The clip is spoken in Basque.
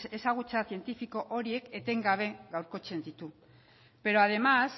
ezagutza zientifiko horiek etengabe gaurkotzen ditu pero además